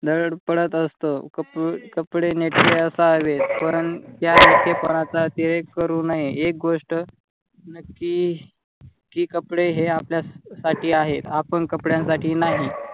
धडपडत असतो. कपडे नेटके असावेत परंतु करू नये. एका गोष्ट नक्की कि कपडे हे आपल्या साठी आहेत आपण कपड्यांसाठी नाही.